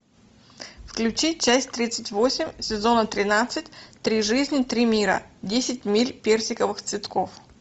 включи часть тридцать восемь сезона тринадцать три жизни три мира десять миль персиковых цветков